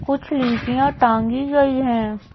कुछ लीचियां टांगी गई हैं।